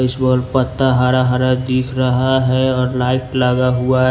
इस बल पत्ता हरा हरा दिख रहा है और लाइट लगा हुआ है।